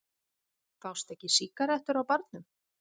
Fást ekki sígarettur á barnum?